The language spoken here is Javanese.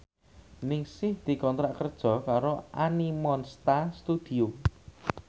Ningsih dikontrak kerja karo Animonsta Studio